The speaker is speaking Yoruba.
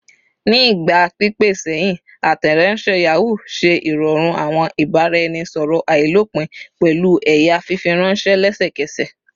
Ni igba pipẹ sẹhin, Ateronse Yahoo ṣe irọrun awọn ibaraẹnisọrọ ailopin pẹlu ẹya fifiranṣẹ lẹsẹkẹsẹ